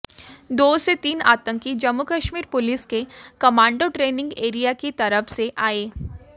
दो से तीन आतंकी जम्मू कश्मीर पुलिस के कमांडो ट्रेनिंग एरिया की तरफ से आए